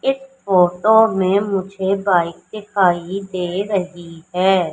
इस फोटो में मुझे बाइक दिखाई दे रही है।